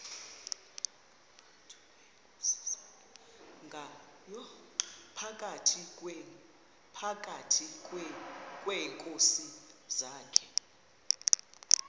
phakathi kweenkosi zakhe